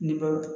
Ni bɛ